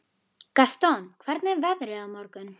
Gaston, hvernig er veðrið á morgun?